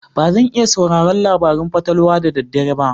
Ba zan iya sauraron labarun fatalwa da dare ba.